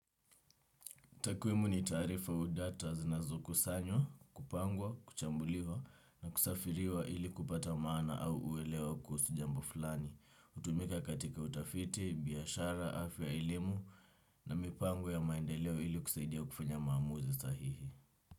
Takwimu ni taarifa au data zinazo kusanywa, kupangwa, kuchambuliwa na kusafiriwa ili kupata maana au uelewa kuhusu jambo fulani. Hutumika katika utafiti, biashara, afya elimu na mipango ya maendeleo ili kusaidia kufanya maamuzi sahihi.